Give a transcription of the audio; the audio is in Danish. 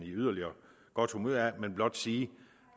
yderligere godt humør af men blot sige